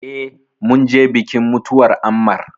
Eh, mun je bikin mutuwar Ammar